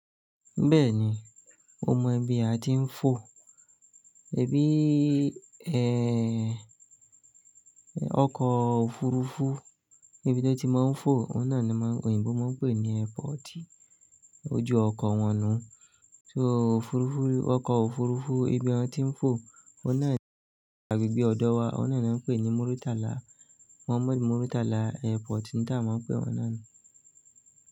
Bẹ́ẹ̀ni, o mọ ibi a ti ń fò. Ebi i, ẹ́, ọkọ̀ òfurufú níbi tó ti máa ń fò, o n nàa ni maa n, oyinbo máa ń pè ní airport. Ó jù ọkọ̀ wọn nú. So òfurufú, ọkọ̀ òfurufú ibi ọn tí ń fò, ọ̀nà ibí ọ̀dọ̀ wa, ọ̀nà ni wọ́n ń pè ní Muritala. Muhammad Muritala Airport ni tá awa máa ń pè wọn náà ni.